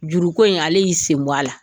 Juruko in ale y'i senbɔn a la